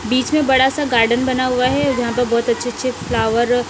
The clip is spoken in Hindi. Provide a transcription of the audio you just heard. बीच में बड़ा सा गार्डन बना हुआ है जहां पर बहुत अच्छे-अच्छे फ्लावर --